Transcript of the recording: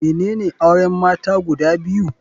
Menene auren mata guda biyu?